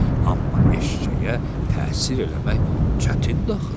Amma eşşəyə təsir eləmək çətin də axı.